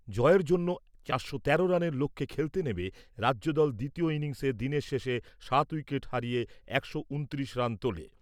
জয়ের জন্যে চারশো তেরো রানের লক্ষ্যে খেলতে নেমে রাজ্যদল দ্বিতীয় ইনিংসে দিনের শেষে সাত উইকেট হারিয়ে একশো উনত্রিশ রান তোলে।